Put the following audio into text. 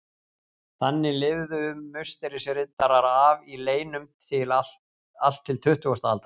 Þannig lifðu Musterisriddarar af í leynum allt til tuttugustu aldar.